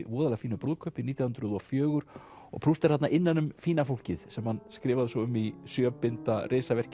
voðalega fínu brúðkaupi nítján hundruð og fjögur og Proust er þarna innan um fína fólkið sem hann skrifaði svo um í sjö binda